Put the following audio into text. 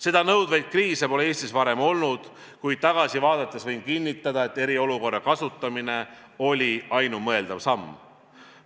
Seda nõudvat kriisi pole Eestis varem olnud, kuid tagasi vaadates võin kinnitada, et eriolukorra kasutamine oli ainumõeldav samm.